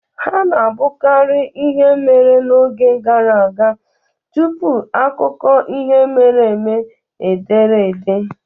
Ha na-abụkarị ihe mere n'oge gara aga tupu akụkọ ihe mere eme e dere ede.